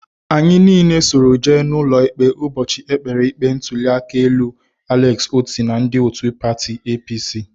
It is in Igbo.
Anyị niile soro jee n'ụlọikpe ụbọchị e kpere ikpe ntụliaka elu Alex Otti na ndị otu pati APC